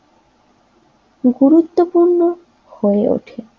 গুরুত্বপূর্ণ হয়ে ওঠে